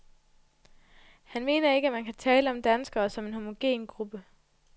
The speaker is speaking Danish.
Han mener ikke, at man kan tale om danskere som en homogen gruppe.